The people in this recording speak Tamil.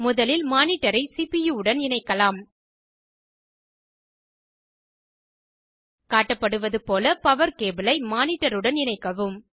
முதலில் மானிட்டரை சிபியூ உடன் இணைக்கலாம் காட்டப்படுவதுபோல பவர் கேபிளை மானிட்டருடன் இணைக்கவும்